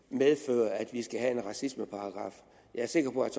medfører at vi skal have en racismeparagraf jeg er sikker på at